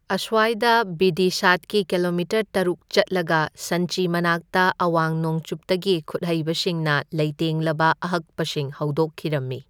ꯑꯁ꯭ꯋꯥꯏꯗ, ꯚꯤꯗꯤꯁꯥꯗꯒꯤ kilometre truck ꯆꯠꯂꯒ ꯁꯟꯆꯤ ꯃꯅꯥꯛꯇ ꯑꯋꯥꯡ ꯅꯣꯡꯆꯨꯞꯇꯒꯤ ꯈꯨꯠꯍꯩꯕꯁꯤꯡꯅ ꯂꯩꯇꯦꯡꯂꯕ ꯑꯍꯛꯄꯁꯤꯡ ꯍꯧꯗꯣꯛꯈꯤꯔꯝꯃꯤ꯫